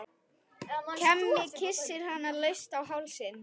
Hemmi kyssir hana laust á hálsinn.